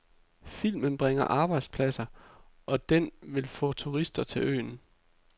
Filmen bringer arbejdspladser, og den vil få turister til øen.